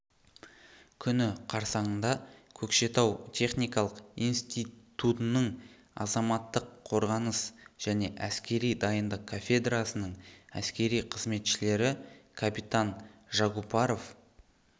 күні қарсаңында көкшетау техникалық институтының азаматтық қорғаныс және әскери дайындық кафедрасының әскери қызметшілері капитан жагупаров